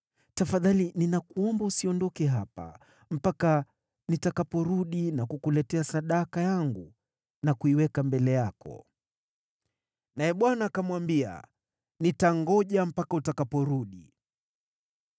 Tafadhali ninakuomba usiondoke hapa mpaka nitakaporudi na kukuletea sadaka yangu na kuiweka mbele yako.” Naye Bwana akamwambia, “Nitangoja mpaka utakaporudi.”